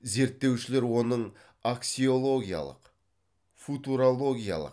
зерттеушілер оның аксиологиялық футурологиялық